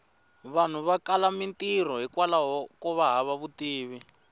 vanhu va kala mintirho hikwlaho kova hava vutivi